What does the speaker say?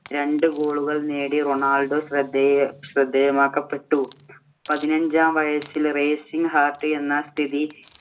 രണ്ട് Goal കൾ നേടി റൊണാൾഡോ ശ്രദ്ധേയ ശ്രദ്ധേയമാക്കപ്പെട്ടു. പതിനഞ്ചാം വയസ്സിൽ racing heart എന്ന സ്ഥിതി